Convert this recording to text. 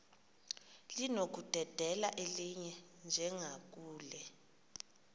linokudedela elinye njengakule